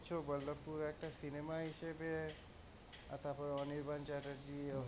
তুমি বলছো বল্লভপুর একটা cinema হিসাবে তারপরে অনির্বাণ চ্যাটার্জি,